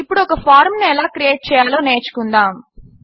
ఇప్పుడు ఒక ఫారంను ఎలా క్రియేట్ చేయాలో నేర్చుకుందాము